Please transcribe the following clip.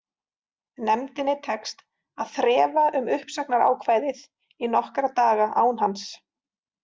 Nefndinni tekst að þrefa um uppsagnarákvæðið í nokkra daga án hans.